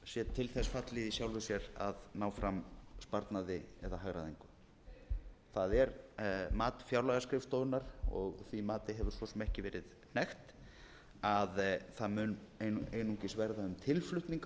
til þess fallið í sjálfu sér að ná fram sparnaði eða hagræðingu það er mat fjárlagaskrifstofunnar og því mati hefur svo sem ekki verið hnekkt að það mun einungis verða um tilflutning á